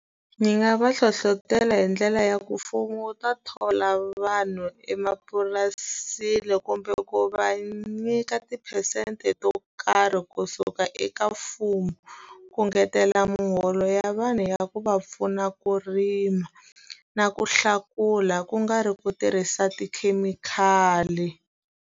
Ndzi nga va hlohlotela hi ndlela ya ku mfumo wu ta thola vanhu emapurasini, kumbe ku va nyika tiphesente to karhi kusuka eka mfumo. Ku engetela muholo ya vanhu ya ku va pfuna ku rima, na ku hlakula ku nga ri ku tirhisa tikhemikhali.